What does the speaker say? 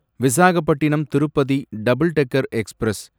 Visakhapatnam Tirupati double decker express